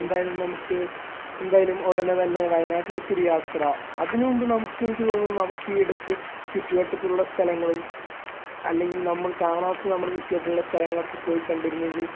എന്തായാലും നമക്ക് എന്തായാലും ഉടനെ തന്നെ വയനാട്ടിലേക്ക് ഒരു യാത്ര അതിനു മുമ്പ് നമുക്ക് എനിക്ക് തോന്നണു നമക്ക് ഈ അടുത്ത് ചുറ്റുവട്ടത്തുള്ള സ്ഥലങ്ങളും അല്ലെങ്കിൽ നമ്മൾ കാണാത്ത നമ്മുടെ ചുറ്റുവട്ടഉള്ള സ്ഥലങ്ങളൊക്കെ പോയി കണ്ടിരുന്നെങ്കിൽ